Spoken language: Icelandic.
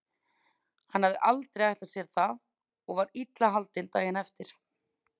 Hann hafði aldrei ætlað sér það og var illa haldinn daginn eftir.